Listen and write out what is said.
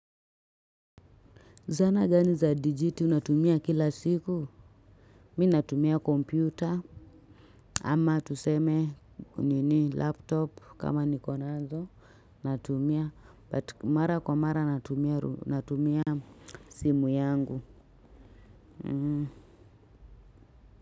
Zana gani za dijiti unatumia kila siku? Mi natumia kompyuta. Ama tuseme ni ni laptop kama niko nazo. Natumia. Mara kwa mara natumia simu yangu.